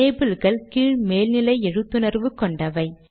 labelகள் கீழ் மேல் நிலை எழுத்துணர்வு கொண்டவை